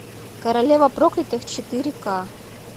королева проклятых четыре ка